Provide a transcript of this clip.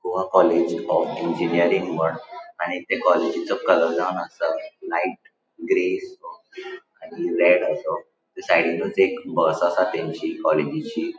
Goa college of engineering म्हण आणि त्या कॉलेजिचो कलर जावन आसा लाइट ग्रे आणि रेड असो आणि साइडीनुच एक बस आसा तेंची कॉलेजीची --